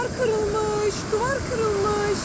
Divar qırılmış, divar qırılmış.